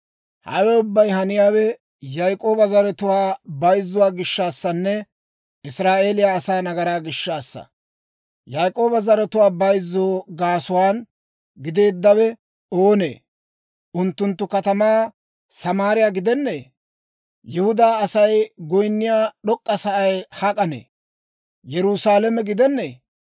Hawe ubbay haniyaawe Yaak'ooba zaratuwaa bayzzuwaa gishshaassanne Israa'eeliyaa asaa nagaraa gishshaassa. Yaak'ooba zaratuwaa bayzzoo gaasuwaa gideeddawe oonee? Unttunttu katamaa Samaariyaa gidennee? Yihudaa Asay goyinniyaa d'ok'k'a sa'ay hak'ee? Yerusaalame gidenneeyye?